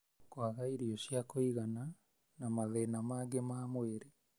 kwaga irio cia kũigana, na mathĩna mangĩ ma mwĩrĩ.